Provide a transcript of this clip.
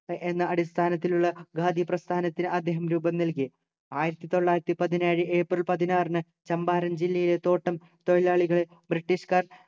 എന്ന അടിസ്ഥാനത്തിലുള്ള ഖാദി പ്രസ്ഥാനത്തിന് അദ്ദേഹം രൂപം നൽകി ആയിരത്തി തൊള്ളായിരത്തി പതിനേഴ്‌ ഏപ്രിൽ പതിനാറിന് ചമ്പാരൻ ജില്ലയിലെ തോട്ടം തൊഴിലാളികളെ british കാർ